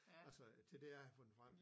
Altså til det jeg havde fundet frem